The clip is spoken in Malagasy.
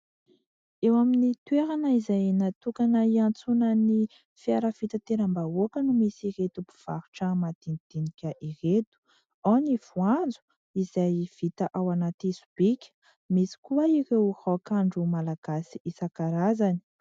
Eo amin'ny toerana izay natokana iantsonan'ny fiara fitanteram-bahoaka no misy ireto mpivarotra madinidinika ireto. Ao ny voanjo izay vita ao anaty sobika, misy koa ireo raokandro malagasy isan-karazany.